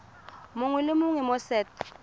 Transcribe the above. mongwe le mongwe mo set